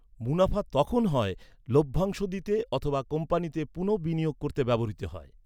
মুনাফা তখন হয় লভ্যাংশ দিতে অথবা কোম্পানিতে পুনঃবিনিয়োগ করতে ব্যবহৃত হয়।